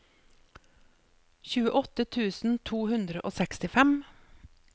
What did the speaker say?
tjueåtte tusen to hundre og sekstifem